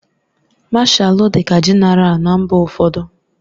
Mashalu dịka Jenéral na mba ụfọdụ.